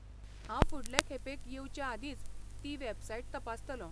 हांव फुडले खेपेक येवचेआदींच ती वॅबसाइट तपासतलों.